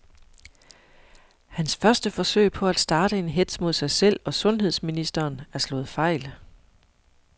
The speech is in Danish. Hans første forsøg på at starte en hetz mod sig selv og sundheds ministeren er slået fejl.